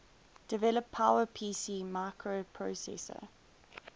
develop powerpc microprocessor